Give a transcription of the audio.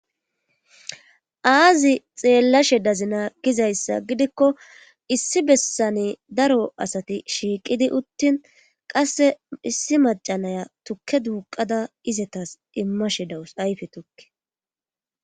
aazi xeellashe dazinaa gizayssa gidikko issi bessane daro asati shiiqidi uttin qasse issi macanaya tukke duuqada izetas immashe dawus ayfe tukke